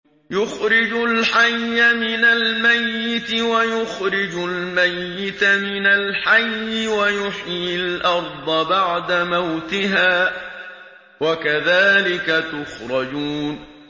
يُخْرِجُ الْحَيَّ مِنَ الْمَيِّتِ وَيُخْرِجُ الْمَيِّتَ مِنَ الْحَيِّ وَيُحْيِي الْأَرْضَ بَعْدَ مَوْتِهَا ۚ وَكَذَٰلِكَ تُخْرَجُونَ